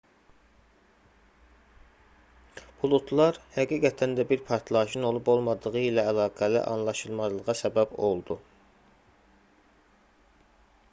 buludlar həqiqətən də bir partlayışın olub-olmadığı ilə əlaqəli anlaşılmazlığa səbəb oldu